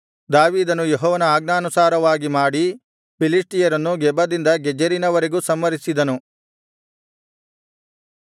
ದಾವೀದನು ಯೆಹೋವನ ಆಜ್ಞಾನುಸಾರವಾಗಿ ಮಾಡಿ ಫಿಲಿಷ್ಟಿಯರನ್ನು ಗೆಬದಿಂದ ಗೆಜೆರಿನವರೆಗೂ ಸಂಹರಿಸಿದನು